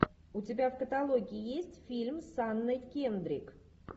у тебя в каталоге есть фильм с анной кендрик